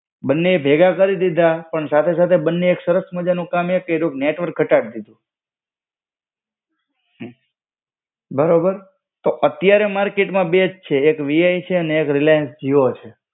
બંને ભેગા કરી દીધા, પણ સાથે સાથે બંને એક સરસ માજાનું કામ એક કઈરું, નેટવર્ક ઘટાડી દીધું. બરોબર, તો અત્યારે માર્કેટ માં બેજ છે, એક VI છે ને એક રિલાયન્સ જીઓ છે.